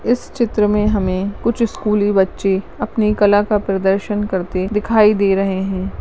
इस चित्र में कुछ स्कूली बच्चे अपनी कला का प्रदर्शन करते दिखाई दे रहे है।